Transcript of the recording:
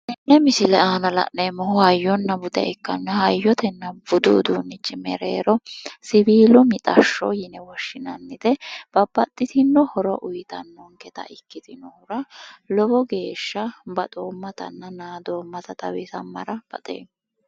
Tenne misile aana la'neemmohu hayyona bude ikkanna hayyotena budu uduunnichi mereero siwiilu mixashsho yine woshshinannite, babbaxitino horo uuyitannonketa ikkitinohura lowo geeshsha baxoommatanna naadoommata xawisammara baxeema.